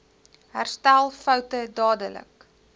herstel foute dadelik